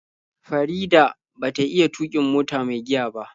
Farida ba ta iya tuƙin mota mai giya ba.